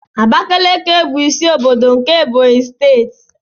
Abakiliki bụ isi ọbọdọ nke Ebonyi steeti.